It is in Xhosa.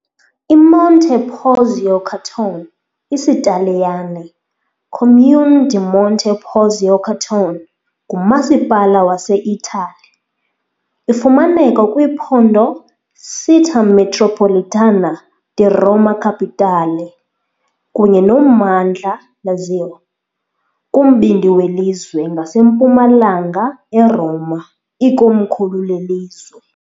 IMonte Porzio Catone, IsiTaliyane - Comune di Monte Porzio Catone, ngumasipala waseItali. Ifumaneka kwiphondo Città metropolitana di Roma Capitale kunye nommandla Lazio, kumbindi welizwe, ngasempumalanga eRoma, ikomkhulu lelizwe.